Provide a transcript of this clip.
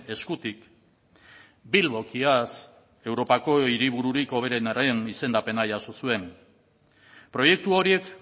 eskutik bilbok iaz europako hiribururik hoberenaren izendapena jaso zuen proiektu horiek